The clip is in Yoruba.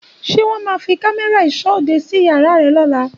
Ṣé wọ́n má fi cámérà ìsọ́ òde síí àyè rè lóla